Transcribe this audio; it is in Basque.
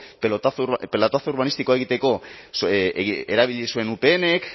pelotazo urbanistikoa egiteko erabili zuen upnk